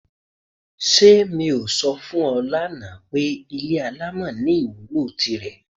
S̩e mi ò so̩ fún e̩ lánàá pé ilé alámò̩ ní ìwúlò tirè̩?